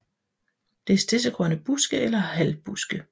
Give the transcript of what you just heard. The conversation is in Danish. Det er stedsegrønne buske eller halvbuske